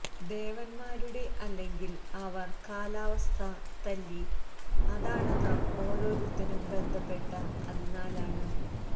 ദേവന്മാരുടെ അല്ലെങ്കിൽ അവർ കാലാവസ്ഥാ തല്ലി അതാണ് നാം ഓരോരുത്തരും ബന്ധപ്പെട്ട അതിനാലാണ്